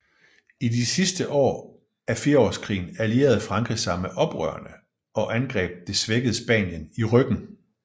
I de sidste år af firsårskrigen allierede Frankrig sig med oprørerne og angreb det svækkede Spanien i ryggen